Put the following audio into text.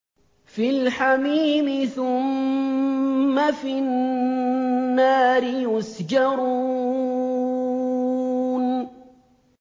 فِي الْحَمِيمِ ثُمَّ فِي النَّارِ يُسْجَرُونَ